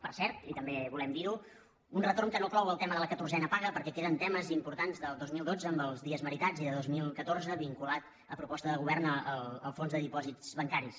per cert i també volem dir·ho un retorn que no clou el tema de la catorzena paga perquè queden temes impor·tants del dos mil dotze amb els dies meritats i de dos mil catorze vinculat a proposta del govern el fons de dipòsits bancaris